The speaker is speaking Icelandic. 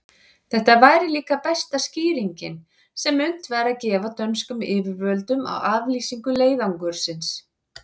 Þetta væri líka besta skýringin, sem unnt væri að gefa dönskum yfirvöldum á aflýsingu leiðangursins.